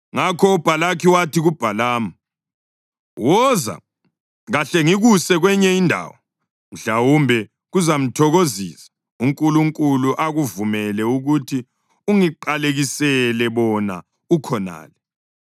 Ngakho uBhalaki wathi kuBhalamu, “Woza, kahle ngikuse kwenye indawo. Mhlawumbe kuzamthokozisa uNkulunkulu akuvumele ukuthi ungiqalekisele bona ukhonale.”